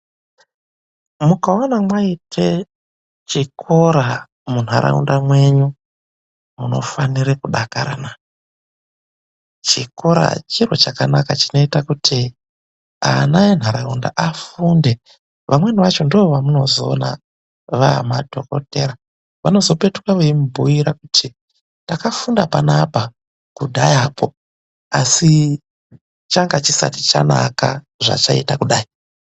Mukaona mwaita chikora munharaunda mwenyu munofanire kudakara, chikora chiro chakanaka chinoita kuti ana enharaunda afunde amweni acho ndiwo vamunozoona vamadhokotera vanozopetuka vechimubhuyira kuti takafunda panapa kudhaya ko asi changa chisati chanaka zvachaita kudai.